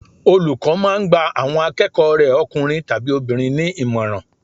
Olùkọ́ máà ń gba àwọn akẹ́kọ̀ọ́ rẹ̀ ọkùnrin tàbi obìnrin ní ìmọ̀ràn